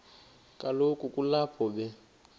kaloku kulapho be